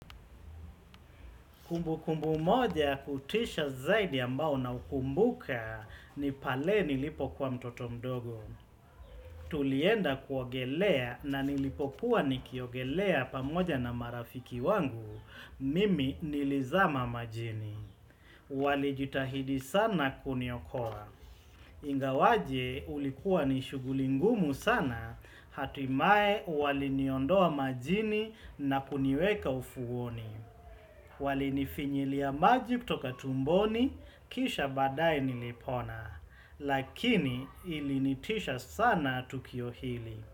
Kumbukumbu moja kutisha zaidi ambao naukumbuka ni pale nilipokuwa mtoto mdogo. Tulienda kuogelea na nilipokuwa nikiogelea pamoja na marafiki wangu, mimi nilizama majini. Walijitahidi sana kuniokoa. Ingawaje ulikuwa ni shughuli ngumu sana, hatimaye waliniondoa majini na kuniweka ufuoni. Walinifinyilia maji kutoka tumboni kisha baadaye nilipona, lakini ilinitisha sana tukio hili.